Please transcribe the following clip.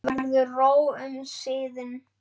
Verður ró um siðinn?